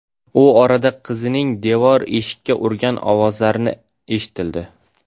U orada qizining devor-eshikka urgan ovozlari eshitildi.